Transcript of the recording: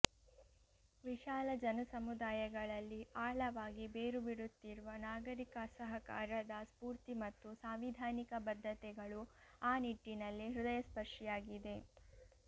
ವಿಶಾಲ ಜನಸಮುದಾಯಗಳಲ್ಲಿ ಆಳವಾಗಿ ಬೇರುಬಿಡುತ್ತಿರುವ ನಾಗರಿಕ ಅಸಹಕಾರದ ಸ್ಫೂರ್ತಿ ಮತ್ತು ಸಾಂವಿಧಾನಿಕ ಬದ್ಧತೆಗಳು ಆ ನಿಟ್ಟಿನಲ್ಲಿ ಹೃದಯಸ್ಪರ್ಷಿಯಾಗಿದೆ